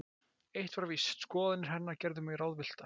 Eitt var víst: Skoðanir hennar gerðu mig ráðvillta.